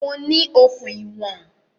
Mo ní okùn ìwọ̀n